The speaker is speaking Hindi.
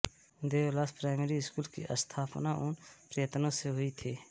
देवलास प्राइमरी स्कूल की स्थापना उन के प्रयत्नों से हुई थी